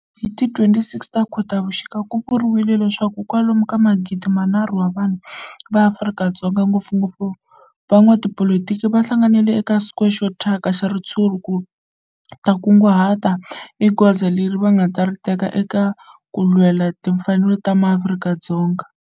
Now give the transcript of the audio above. Hi ti 26 Khotavuxika ku vuriwa leswaku kwalomu ka magidi nharhu wa vanhu va Afrika-Dzonga, ngopfungopfu van'watipolitiki va hlanganile eka square xo thyaka xa ritshuri ku ta kunguhata hi goza leri va nga ta ri teka ku lwela timfanelo ta maAfrika-Dzonga.